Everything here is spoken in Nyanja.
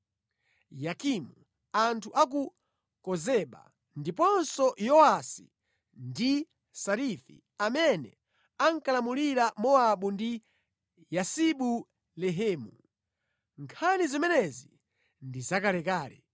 Yokimu, anthu a ku Kozeba, ndiponso Yowasi ndi Sarafi, amene ankalamulira Mowabu ndi Yasibu-Lehemu. (Nkhani zimenezi ndi zakalekale).